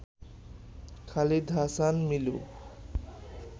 Khalid Hasan Milu